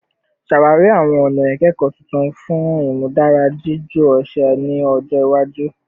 Ṣawari awọn ọna ikẹkọ tuntun fun imudara jiju ọṣẹ ni ọjọ iwaju